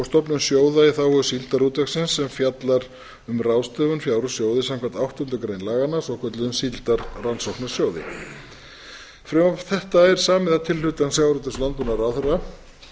stofnun sjóða í þágu síldarútvegsins sem fjallar um ráðstöfun fjár úr sjóði samkvæmt áttundu grein laganna svokölluðum síldarrannsóknasjóði frumvarp þetta er samið að tilhlutan sjávarútvegs og landbúnaðarráðherra